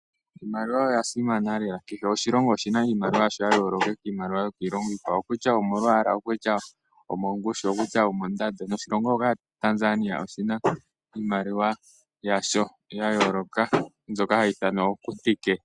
Iimaliwa oyasimana lela, kehe oshilongo oshina iimaliwa yayooloka kiimaliwa yokiilongo iikwawo okutya omongushu, okutya omondando. Noshilongo shoka Tanzanian oshina iimaliwa yasho yayooloka mbyoka hayi ithanwa ooKutike.